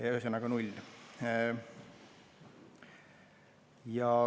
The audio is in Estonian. Ühesõnaga, null.